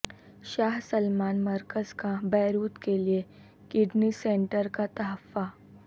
شاہ Salman مرکز کا Beirut کے لیے کڈنی سینٹر کا تحفہ